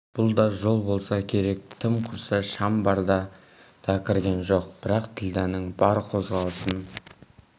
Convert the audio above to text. бұл да жол болса керек тым құрса шам барда да кірген жоқ бірақ ділдәнің бар қозғалысын